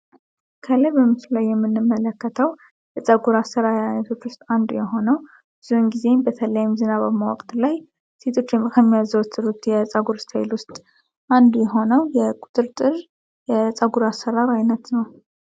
ከላይ በምስሉ ላይ የምንመለከተው የፀጉር አሰራር አይነቶች አንዱ የሆነውን የዞንግዚንግ በተለይም ዝናብ ማወቅ ላይ ሴቶች ውስጥ የቁጥርጥር የፀጉር አሰራር አይነት ነው።